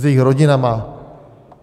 S jejich rodinami?